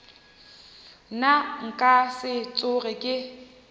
nna nka se tsoge ke